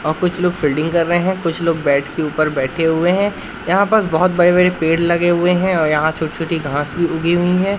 और कुछ लोग फील्डिंग कर रहे है कुछ लोग बैट के ऊपर बैठे हुए है यहां पर बहुत बड़े-बड़े पेड़ लगे हुए है और यहां छोटी-छोटी घास भी उगी हुई है।